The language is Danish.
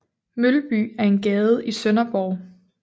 Mølby er en gade i Sønderborg